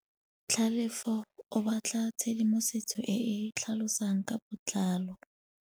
Tlhalefô o batla tshedimosetsô e e tlhalosang ka botlalô.